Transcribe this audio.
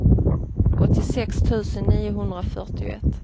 åttiosex tusen niohundrafyrtioett